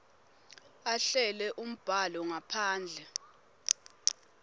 ahlele umbhalo ngaphandle